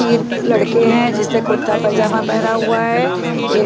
तीर क लड़के हैं जिसने कुर्ता पजामा पहना हुआ है ऐ --